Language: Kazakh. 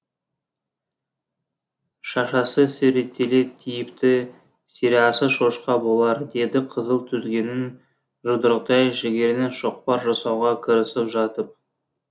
шашасы сүйретіле тиіпті сірәсі шошқа болар деді қызыл түзгеннің жұдырықтай жігерінен шоқпар жасауға кірісіп жатып